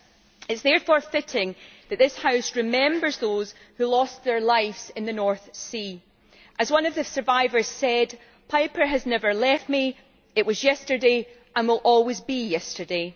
It is therefore fitting that this House remember those who lost their lives in the North Sea. As one of the survivors said Piper has never left me it was yesterday and will always be yesterday.'